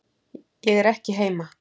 Ég er ekki heima